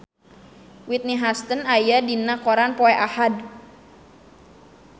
Whitney Houston aya dina koran poe Ahad